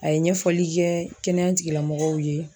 A ye ɲɛfɔli kɛ kɛnɛya tigilamɔgɔw ye